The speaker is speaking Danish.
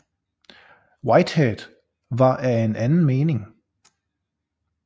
Whitehead var af en anden mening